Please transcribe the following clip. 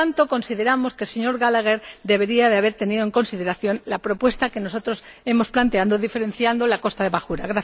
Por lo tanto, consideramos que el señor Gallagher debería haber tenido en consideración la propuesta que nosotros hemos planteado, diferenciando la costa de bajura.